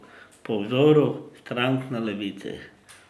Po vzoru strank na levici.